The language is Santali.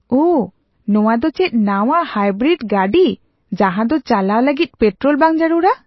ᱳᱦ! ᱱᱚᱶᱟ ᱫᱚ ᱪᱮᱫ ᱱᱟᱶᱟ ᱦᱟᱭᱵᱨᱤᱰ ᱜᱟᱹᱰᱤ ᱡᱟᱦᱟᱸ ᱫᱚ ᱪᱟᱞᱟᱣ ᱞᱟᱹᱜᱤᱫ ᱯᱮᱴᱨᱳᱞ ᱵᱟᱝ ᱡᱟᱹᱨᱩᱲᱟ ?